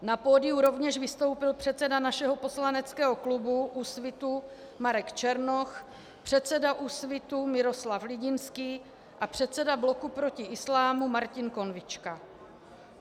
Na pódiu rovněž vystoupil předseda našeho poslaneckého klubu Úsvitu Marek Černoch, předseda Úsvitu Miroslav Lidinský a předseda Bloku proti islámu Martin Konvička.